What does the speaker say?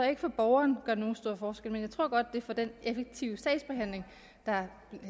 ikke for borgeren gør nogen stor forskel men jeg tror godt at det for den effektive sagsbehandling der